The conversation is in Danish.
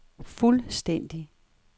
fuldstændig